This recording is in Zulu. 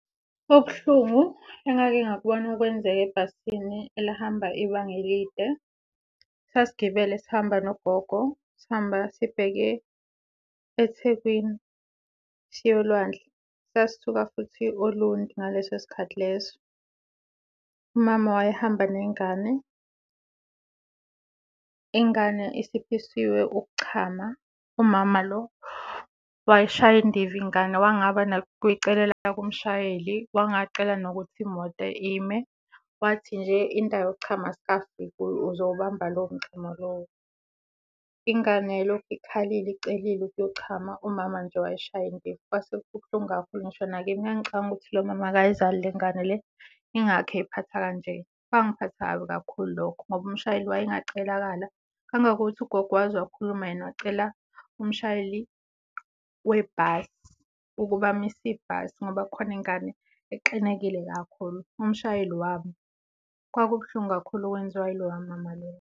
Okubuhlungu engake ngakubona kwenzeka ebhasini elihamba ibanga elide, sasigibele sihamba nogogo sihamba sibheke eThekwini siya olwandle. Sasisuka futhi Olundi ngaleso sikhathi leso. Umama owayehamba nengane, ingane isiphisiwe ukuchama umama lo wayishaya indiva ingane wangaba nokuyicelela kumshayeli, wangacela nokuthi imoto ime wathi nje, indawo yokuchama asikafiki kuyo uzowubamba lowo mchamo lowo. Ingane yayilokhu ikhalile, icelile ukuyochama umama nje wayishaya indiva. Kwase kubuhlungu kakhulu ngisho nakimi, ngangicabanga ukuthi lo mama akayizali le ngane le yingakho eyiphatha kanje. Kwangiphatha kabi kakhulu lokho ngoba umshayeli wayengacelakala. Kwangangokuthi ugogo wakhuluma yena wacela umshayeli webhasi ukuba amise ibhasi ngoba kukhona ingane exinekile kakhulu, umshayeli wama. Kwakubuhlungu kakhulu okwenziwa iloya mama loya.